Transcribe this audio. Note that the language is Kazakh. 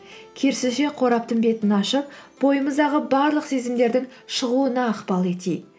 керісінше қораптың бетін ашып бойымыздағы барлық сезімдердің шығуына ықпал етейік